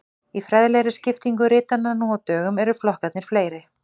Í fræðilegri skiptingu ritanna nú á dögum eru flokkarnir fleiri.